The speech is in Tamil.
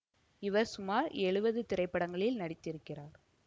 இவர் சுமார் எழுவது திரைப்படங்களில் நடித்திருக்கிறார்